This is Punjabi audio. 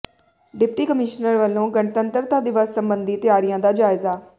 ਡਿਪਟੀ ਕਮਿਸ਼ਨਰ ਵੱਲੋਂ ਗਣਤੰਤਰਤਾ ਦਿਵਸ ਸਬੰਧੀ ਤਿਆਰੀਆਂ ਦਾ ਜਾਇਜਾ